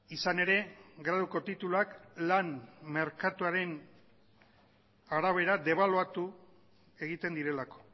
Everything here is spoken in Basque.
izan ere graduko tituluak lan merkatuaren arabera debaluatu egiten direlako